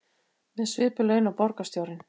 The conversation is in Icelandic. Með svipuð laun og borgarstjórinn